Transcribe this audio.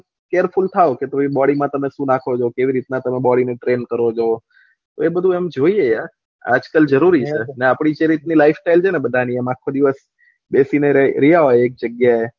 careful થઇ કે તમે બોડી માં શું નાખો છો કેવી રીતના તમે બોડી ને ત્રેણ કરો છો એ બધું એમ જોયીએ યર આજ કાલ જરૂરી છે અને આપળી સેહરી ની લાય્ફ સ્તય્લ એમ આખો દિવસ બેસી રેહ ને રહ્યા હોય એક જગ્યા